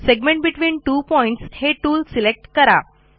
segment between two points हे tool select करा